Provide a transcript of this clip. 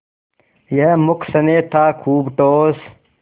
यह मूक स्नेह था खूब ठोस